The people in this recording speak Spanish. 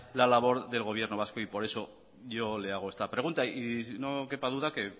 la labor del gobierno vasco y por eso yo le hago esta pregunta y no quepa duda que